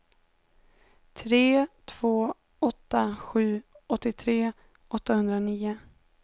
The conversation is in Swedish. tre två åtta sju åttiotre åttahundranio